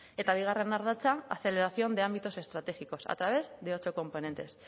eta bigarren ardatza aceleración de ámbitos estratégicos a través de ocho competentes